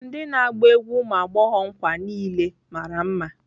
Ndị na-agba egwu ụmụ agbọghọ nkwa niile mara mma.